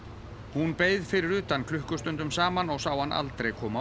hún beið fyrir utan klukkustundum saman og sá hann aldrei koma